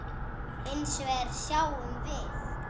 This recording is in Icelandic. Hins vegar sjáum við